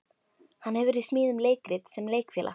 Hann hefur í smíðum leikrit sem Leikfélag